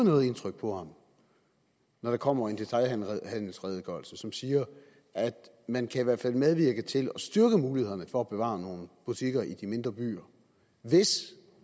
noget indtryk på ham når der kommer en detailhandelsredegørelse som siger at man i hvert fald kan medvirke til at styrke mulighederne for at bevare nogle butikker i de mindre byer hvis